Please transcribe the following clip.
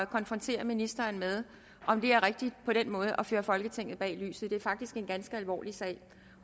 konfrontere ministeren med om det er rigtigt på den måde at føre folketinget bag lyset det er faktisk en ganske alvorlig sag